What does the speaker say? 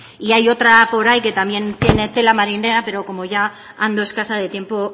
y hay otra por ahí que también tiene tela marinera pero como ya ando escasa de tiempo